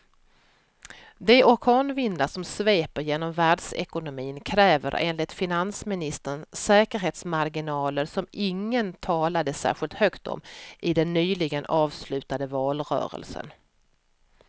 De orkanvindar som sveper genom världsekonomin kräver enligt finansministern säkerhetsmarginaler som ingen talade särskilt högt om i den nyligen avslutade valrörelsen.